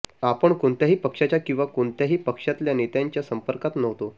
आपण कोणत्याही पक्षाच्या किंवा कोणत्याही पक्षातल्या नेत्यांच्या संपर्कात नव्हतो